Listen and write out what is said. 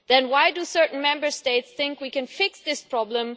Then why do certain Member States think we can fix this problem?